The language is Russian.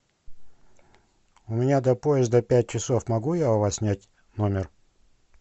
у меня до поезда пять часов могу я у вас снять номер